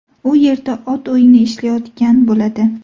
U yerda ot o‘yini ishlayotgan bo‘ladi.